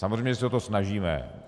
Samozřejmě se o to snažíme.